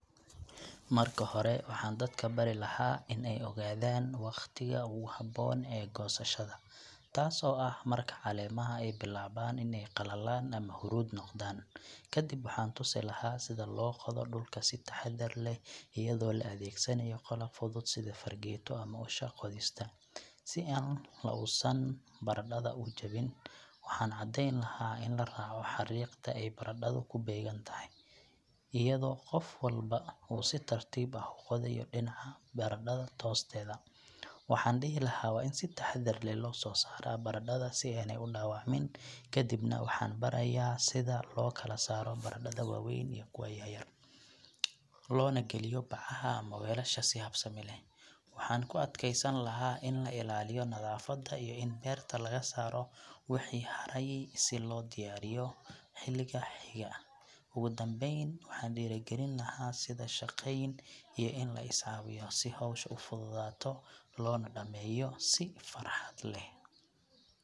Marka hore waxaan dadka bari lahaa in ay ogaadaan wakhtiga ugu habboon ee goosashada, taas oo ah marka caleemaha ay bilaabaan in ay qallalaan ama huruud noqdaan. Kadib waxaan tusi lahaa sida loo qodo dhulka si taxadar leh, iyadoo la adeegsanayo qalab fudud sida fargeeto ama usha qodista, si aan la uusan baradhada u jabin. Waxaan caddeyn lahaa in la raaco xariiqda ay baradhadu ku beegan tahay, iyadoo qof walba uu si tartiib ah u qodayo dhinaca baradhada hoosteeda. Waxaan dhihi lahaa waa in si taxadar leh loo soo saaraa baradhada si aanay u dhaawacmin. Kadibna waxaan barayaa sida loo kala saaro baradhada waaweyn iyo kuwa yaryar, loona geliyo bacaha ama weelasha si habsami ah. Waxaan ku adkayn lahaa in la ilaaliyo nadaafadda iyo in beerta laga saaro wixii haray si loo diyaariyo xilliga xiga. Ugu dambayn, waxaan dhiirigelin lahaa wada shaqayn iyo in la is caawiyo si hawshu u fududaato loona dhammeeyo si farxad leh.